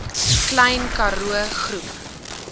klein karoo groep